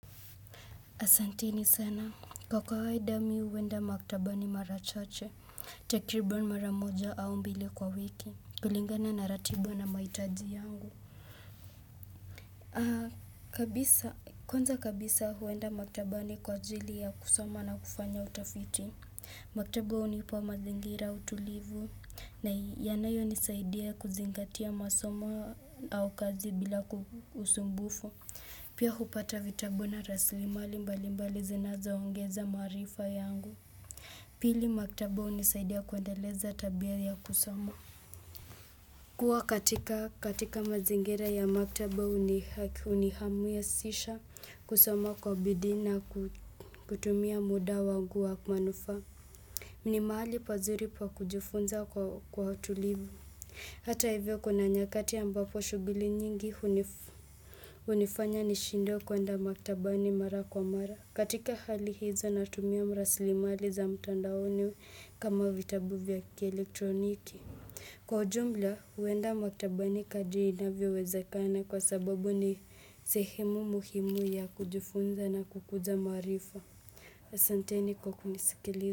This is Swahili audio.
Asanteni sana. Kwa kawaida mimi huenda maktabani mara chache. Takribani mara moja au mbili kwa wiki. Kulingana na ratiba na maitaji yangu. Kwanza kabisa huenda maktabani kwa ajili ya kusoma na kufanya utafiti. Maktaba hunipa mazingira utulivu. Na yanayonisaidia kuzingatia masomo au kazi bila usumbufu. Pia hupata vitabu na rasili mali mbali mbali zinazoongeza maarifa yangu. Pili maktaba hunisaidia kuendeleza tabia ya kusoma. Kuwa katika mazingira ya maktaba hunihamasisha kusoma kwa bidii na kutumia muda wangu wa manufaa. Ni mahali pazuri pa kujifunza kwa utulivu. Hata hivyo kuna nyakati ambapo shughuli nyingi hunifanya nishindwe kuenda maktabani mara kwa mara. Katika hali hizo natumia rasilimali za mtandaoni kama vitabu vya kielektroniki. Kwa ujumla, huenda maktabani kadri inavyowezekana kwa sababu ni sehemu muhimu ya kujifunza na kukuza maarifa. Asanteni kwa kunisikiliza.